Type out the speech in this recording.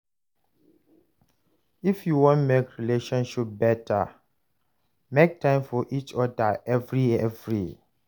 If yu wan mek your relationship beta, mek time for each oda evri evri.